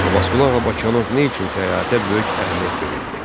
Abbasqulu Ağa Bakıxanov nə üçün səyahətə böyük əhəmiyyət verirdi?